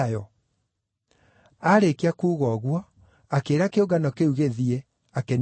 Aarĩkia kuuga ũguo, akĩĩra kĩũngano kĩu gĩthiĩ, akĩniina mũcemanio.